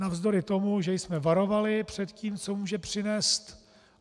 Navzdory tomu, že jsme varovali před tím, co může přinést.